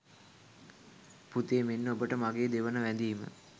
පුතේ, මෙන්න ඔබට මගේ දෙවන වැඳීම